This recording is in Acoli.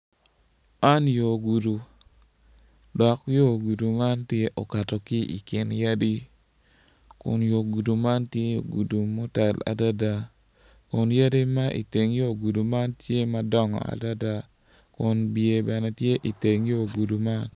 Man yo gudu, dok yo gudu man tye okato ki i kin yadi kun yo gudo man tye gudu motal adada kun yadi ma i yo teng gudu man tye madongo adada kun bye bene tye i teng yo gudu man.